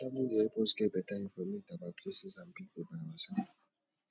travelling dey help us get better informate about places and people by ourself